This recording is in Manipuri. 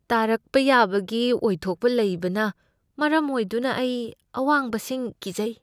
ꯇꯥꯔꯛꯄ ꯌꯥꯕꯒꯤ ꯑꯣꯏꯊꯣꯛꯄ ꯂꯩꯕꯅ ꯃꯔꯝ ꯑꯣꯏꯗꯨꯅ ꯑꯩ ꯑꯋꯥꯡꯕꯁꯤꯡ ꯀꯤꯖꯩ꯫